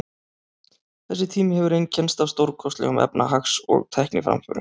Þessi tími hefur einkennst af stórkostlegum efnahags- og tækniframförum.